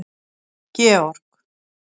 Georg